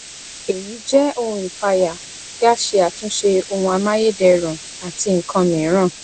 èyí jẹ ohun ìpayà kí a ṣe àtúnṣe ohun amáyédẹrùn àti nkan mìíràn